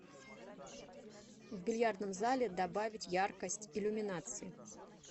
в бильярдном зале добавить яркость иллюминации